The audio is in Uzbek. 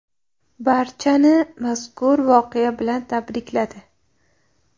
Barchani mazkur voqea bilan tabrikladi.